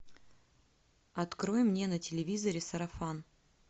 открой мне на телевизоре сарафан